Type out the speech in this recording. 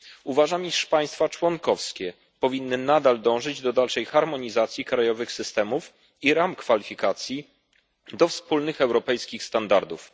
Uważam, iż państwa członkowskie powinny dążyć do dalszej harmonizacji krajowych systemów i ram kwalifikacji, do wspólnych europejskich standardów.